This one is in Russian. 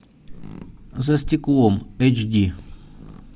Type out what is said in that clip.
за стеклом эйч ди